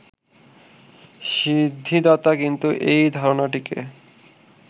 সিদ্ধিদাতা কিন্তু এই ধারণাটিকে